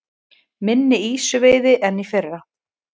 Minni ýsuveiði en í fyrra